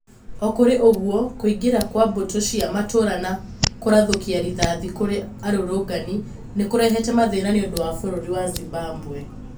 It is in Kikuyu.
O na kũrĩ ũguo, kũingĩra kwa mbũtũ cia matũra na kũrathũkia rĩthathi kũri arũrũngani nĩ kũrehete mathina nĩũndũ wa bũrũri wa Zimbabwe